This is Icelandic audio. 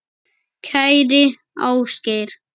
Kæri Ásgeir.